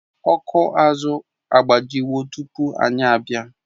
Ọkụ azụ agbajiwo tupu anyị abịa